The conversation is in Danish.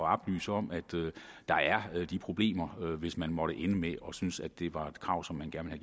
at oplyse om at der er de problemer hvis man måtte ende med at synes at det var et krav som man gerne vil